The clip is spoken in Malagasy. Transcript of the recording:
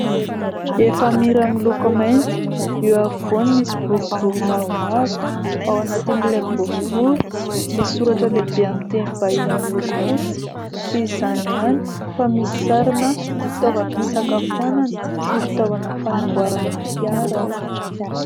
Efamira miloko mainty ; eo afovoany misy boribory mavomavo, ao anatin'ilay boribory misy soratra lehibe amin'ny teny vahiny miloko fotsy ; tsy izany ihany fa misy sarina fitaovam-pisakafoanana sy fitaovana fanamboarana fiara ao.